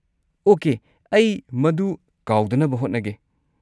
Okay, ꯑꯩ ꯃꯗꯨ ꯀꯥꯎꯗꯅꯕ ꯍꯣꯠꯅꯒꯦ꯫